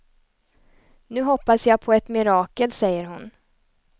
Nu hoppas jag på ett mirakel, säger hon.